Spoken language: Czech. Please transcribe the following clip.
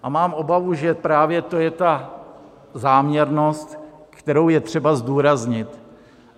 A mám obavu, že právě to je ta záměrnost, kterou je třeba zdůraznit.